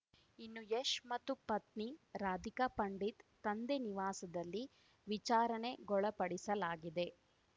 ಇನ್ನು ಯಶ್‌ ಮತ್ತು ಪತ್ನಿ ರಾಧಿಕಾ ಪಂಡಿತ್‌ ತಂದೆ ನಿವಾಸದಲ್ಲಿ ವಿಚಾರಣೆಗೊಳಪಡಿಸಲಾಗಿದೆ